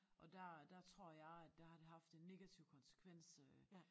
Og der der tror jeg at der har det haft en negativ konsekvens øh